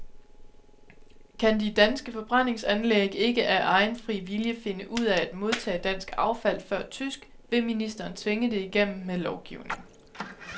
Kan de danske forbrændingsanlæg ikke af egen fri vilje finde ud af at modtage dansk affald før tysk, vil ministeren tvinge det igennem med lovgivning.